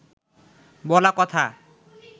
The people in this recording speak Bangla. বলা কথা